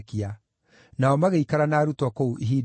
Nao magĩikara na arutwo kũu ihinda iraaya.